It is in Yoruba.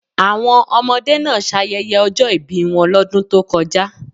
Àwọn ọmọdé náà ṣayẹyẹ ọjọ́ ìbí wọn lọ́dún tó kọjá.